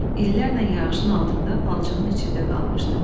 İllərlə yağışın altında palçığın içində qalmışdı.